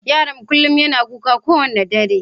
Yaron kullum yana kuka kowane dare.